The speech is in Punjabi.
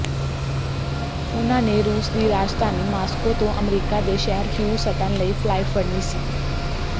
ਉਨ੍ਹਾਂ ਨੇ ਰੂਸ ਦੀ ਰਾਜਧਾਨੀ ਮਾਸਕੋ ਤੋਂ ਅਮਰੀਕਾ ਦੇ ਸ਼ਹਿਰ ਹਿਊਸਟਨ ਲਈ ਫਲਾਈਟ ਫੜਨੀ ਸੀ